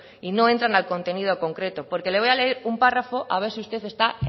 y no entran al contenido concreto porque le voy a leer un párrafo a ver si usted está